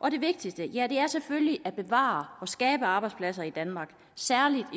og det vigtigste er selvfølgelig at bevare og skabe arbejdspladser i danmark særlig i